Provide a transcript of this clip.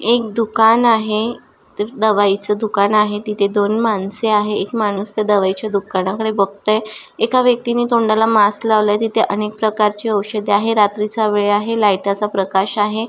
एक दुकान आहे दवाई ची दुकान आहे तिथे दोन माणस आहे एक माणूस त्या दवाई ची दुकानाकडे बघतोय एका व्यक्तिनि तोंडाला मास्क लावलाय तिथे अनेक प्रकारची ओषध आहे रात्रीचा वेळ आहे लाइट चा प्रकाश आहे.